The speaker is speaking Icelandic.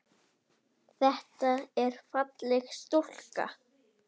Þetta er falleg stúlka.